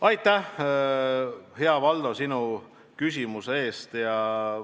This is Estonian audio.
Aitäh, hea Valdo, sinu küsimuse eest!